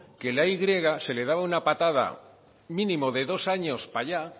que a la y griega se le daba una patada mínimo de dos años para allá